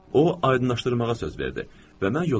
O aydınlaşdırmağa söz verdi və mən yola düşdüm.